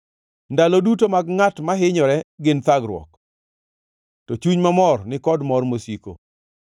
Ndalo duto mag ngʼat mahinyore gin thagruok, to chuny mamor ni kod mor mosiko.